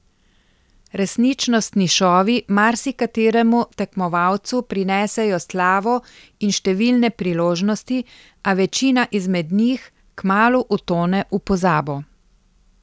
Resničnostni šovi marsikateremu tekmovalcu prinesejo slavo in številne priložnosti, a večina izmed njih kmalu utone v pozabo.